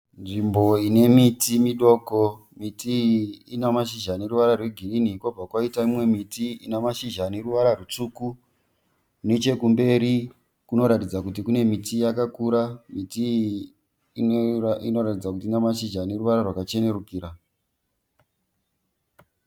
Nzvimbo ine miti midoko. Miti iyi ina mashizha ane ruvara rwe girinhi , kobva kwaita imwe miti ina mashizha ane ruvara rutsvuku. Nechekumberi kunoratidza kuti kune miti yakakura. Miti iyi inoratidza kuti ina mashizha ane ruvara rwakachenerukira.